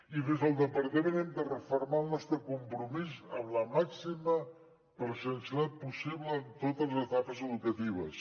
i des del departament hem de refermar el nostre compromís amb la màxima presencialitat possible en totes les etapes educatives